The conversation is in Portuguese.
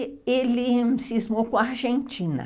E ele se esmou com a Argentina.